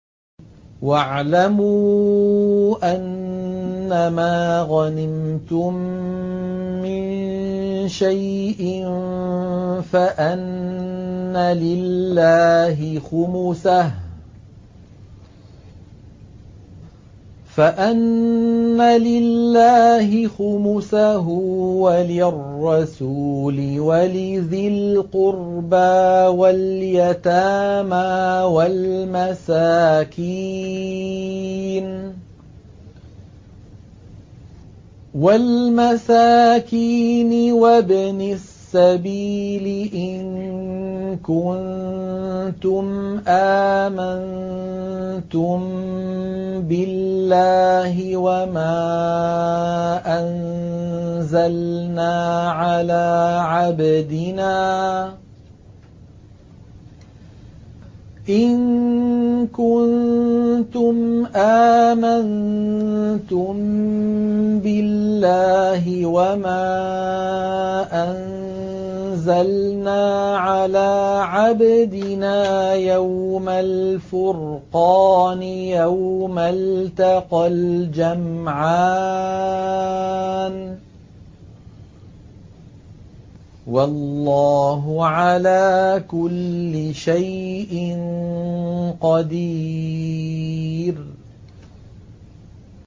۞ وَاعْلَمُوا أَنَّمَا غَنِمْتُم مِّن شَيْءٍ فَأَنَّ لِلَّهِ خُمُسَهُ وَلِلرَّسُولِ وَلِذِي الْقُرْبَىٰ وَالْيَتَامَىٰ وَالْمَسَاكِينِ وَابْنِ السَّبِيلِ إِن كُنتُمْ آمَنتُم بِاللَّهِ وَمَا أَنزَلْنَا عَلَىٰ عَبْدِنَا يَوْمَ الْفُرْقَانِ يَوْمَ الْتَقَى الْجَمْعَانِ ۗ وَاللَّهُ عَلَىٰ كُلِّ شَيْءٍ قَدِيرٌ